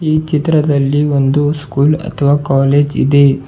ಈ ಚಿತ್ರದಲ್ಲಿ ಒಂದು ಸ್ಕೂಲ್ ಅಥವಾ ಕಾಲೇಜ್ ಇದೆ.